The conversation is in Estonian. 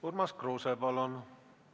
Urmas Kruuse, palun!